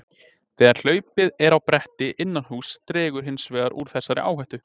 þegar hlaupið er á bretti innan húss dregur hins vegar úr þessari áhættu